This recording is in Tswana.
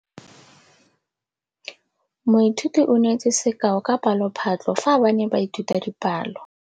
Moithuti o neetse sekaô sa palophatlo fa ba ne ba ithuta dipalo.